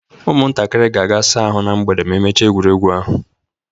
Ụmụntakịrị ga-aga saa ahụ na mgbede ma emechaa egwuregwu ahụ